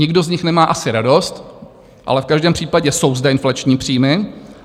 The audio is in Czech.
Nikdo z nich nemá asi radost, ale v každém případě jsou zde inflační příjmy.